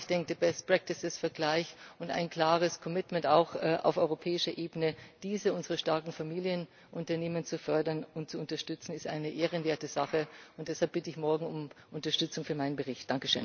Aber ich denke, der Best Practices Vergleich und ein klares Commitment auch auf europäischer Ebene, diese unsere starken Familienunternehmen zu fördern und zu unterstützen, ist eine ehrenwerte Sache. Und deshalb bitte ich morgen um Unterstützung für meinen Bericht.